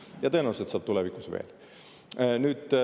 Ja tõenäoliselt saab tulevikus veel.